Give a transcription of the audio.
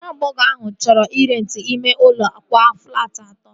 Nwa agbọghọ ahụ chọrọ ị renti ime ụlọ akwa flaati atọ